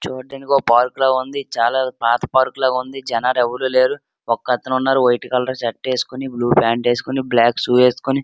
చూడ్డానికి ఒక పార్క్ లా ఉంది. ఇది చాలా పాత పార్క్ లాగుంది. జనాలెవరు లేరు. ఒకతను ఉన్నారు. వైట్ కలర్ షర్ట్ ఏసుకొని బ్లూ ప్యాంటు వేసుకొని బ్లాక్ షూ వేసుకొని --